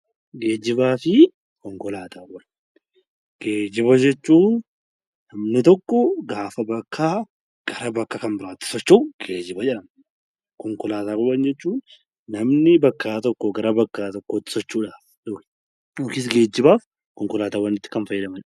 Geejjibaa fi konkolaataa: Geejjiba jechuun wanti tokko gaafa bakkaa gara bakka kan biraatti socho'u geejjjba jedhama. Konkolaataawwan jechuun namni bakka tokko irraa gara biraatti socho'uuf konkolaataa barbaada.